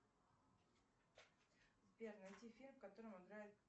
сбер найди фильм в котором играет